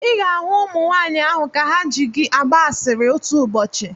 Ị ga-ahụ ụmụnwaanyụ ahụ ka ha ji gị agba asịrị otu ụbọchị.